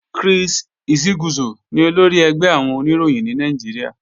Chris Isiguzo ni olórí ẹgbẹ́ àwọn Oníròyìn ní Nàìjíríà